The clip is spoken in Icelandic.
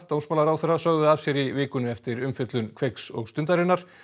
dómsmálaráðherra sögðu af sér í vikunni eftir umfjöllun Kveiks og Stundarinnar